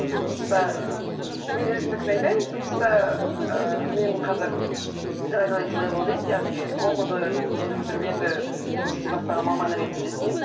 жұмыста мен өзімдікін айтайын жұмыста ііі менің қазір градуэйт левел дейді яғни оқуды енді бітіріп енді жұмыс істей бастаған маман ретінде істеймін чс